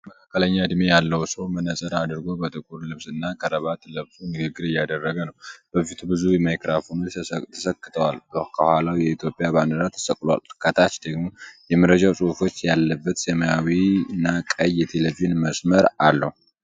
አንድ መካከለኛ ዕድሜ ያለው ሰው መነጽር አድርጎ በጥቁር ልብስና ክራባት ለብሶ ንግግር እያደረገ ነው። በፊቱ ብዙ ማይክሮፎኖች ተሰክተዋል። ከኋላው የኢትዮጵያ ባንዲራ ተሰቅሏል። ከታች ደግሞ የመረጃ ፅሁፎች ያለበት ሰማያዊና ቀይ የቴሌቪዥን መስመር አለው።